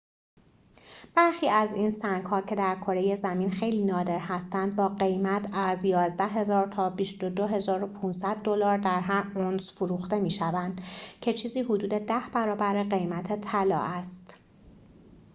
برخی از این سنگ‌ها که در کره زمین خیلی نادر هستند با قیمت از ۱۱,۰۰۰ تا ۲۲,۵۰۰ دلار در هر اونس فروخته می‌شوند که چیزی حدود ده برابر قیمت طلا است